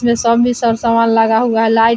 इ सब सामान लगा हुआ है लाईट --